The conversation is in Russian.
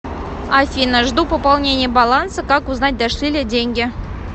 афина жду пополнения баланса как узнать дошли ли деньги